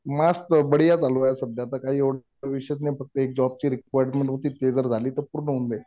मस्त बढिया चालू आहे. सध्या तर काही एवढं विशेष नाही. फक्त एक जॉबची रिक्वायरमेंट होती. ते जे झाली तर पूर्ण होऊन जाईल.